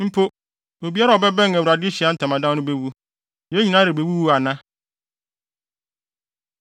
Mpo, obiara a ɔbɛbɛn Awurade Ahyiae Ntamadan no bewu. Yɛn nyinaa rebewuwu ana?”